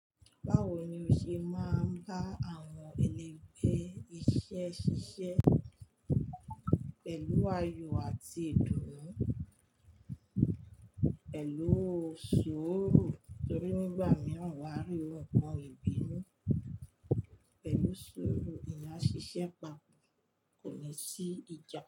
Báwo ni o ṣe máa ń bá àwọn ẹlẹ́gbẹ́ iṣẹ́ ṣiṣẹ́? Pẹ̀lú ayọ̀ àti ìdùnnú, pẹ̀lú suuru torí nígbà mìíràn wà á rí ohun nkan ìbínú. Pẹ̀lú suuru, eeyan a ṣiṣẹ́ papọ̀ kò ní sí ìjà.